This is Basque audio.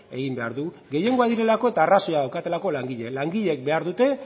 egin behar du gehiengoak direlako eta arrazoia daukatelako langileek langileek behar dute